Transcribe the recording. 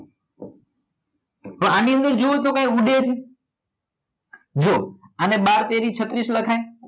તો આની અંદર જુઓ તો કઈ ઉડે છે જુઓ આને બાર તેરી છત્રીસ લખાય